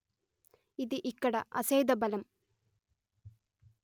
ఇది ఇక్కడ అసేధ బలం